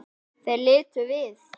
Þeir litu við.